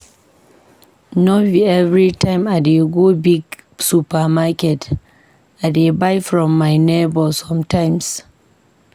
No be everytime I dey go big supermarket, I dey buy from my nebor sometimes.